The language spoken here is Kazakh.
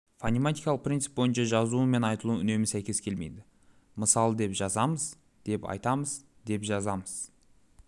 фонематикалық принцип бойынша жазуы мен айтылуы үнемі сәйкес келмейді мысалы деп жазамыз деп айтамыз деп жазамыз